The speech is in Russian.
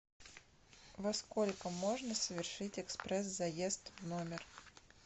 во сколько можно совершить экспресс заезд в номер